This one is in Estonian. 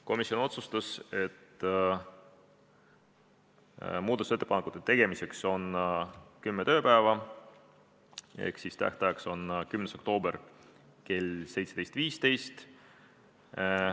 Komisjon otsustas, et muudatusettepanekute tegemiseks on aega kümme tööpäeva ehk et tähtajaks on 10. oktoober kell 17.15.